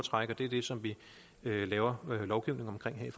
træk og det er det som vi laver lovgivning om her